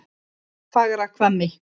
Fagrahvammi